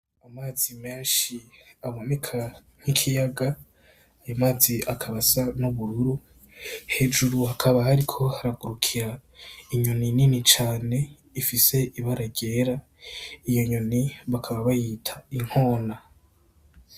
Amazi menshi aboneka nk'ikiyaga , ayo mazi akaba asa n'ubururu hejuru hakaba hariko haragurukira inyoni nini cane ifise ibara ryera , iyo nyoni bakaba bayita inkona.